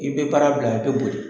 I bɛ baara bila i bɛ boli.